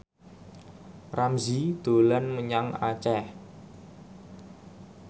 Ramzy dolan menyang Aceh